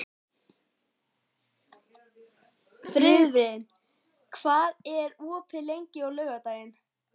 Friðvin, hvað er opið lengi á laugardaginn?